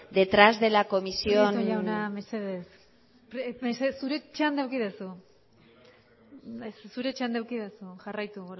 detrás de la comisión prieto jauna mesedez mesedez zure txanda eduki duzu zure txanda eduki duzu jarraitu